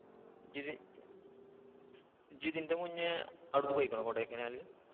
ഇഇജ്ജ് ഇതിന്റെ മുന്നേ അവിടേക്ക് പോയേക്കുണോ കൊടൈക്കനാല്.